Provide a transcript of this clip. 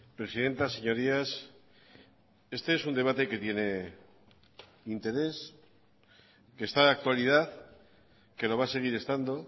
presidenta señorías este es un debate que tiene interés que está de actualidad que lo va a seguir estando